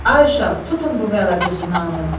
Ay uşaq, tutun bu vələdüznanı!